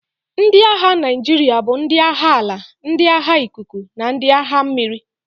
Ndị agha Naijiria bụ ndị agha ala, ndị agha ikuku, na ndị agha mmiri.